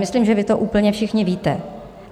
Myslím, že vy to úplně všichni víte.